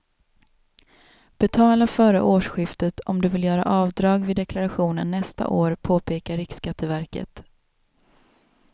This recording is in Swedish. Betala före årsskiftet om du vill göra avdrag vid deklarationen nästa år, påpekar riksskatteverket.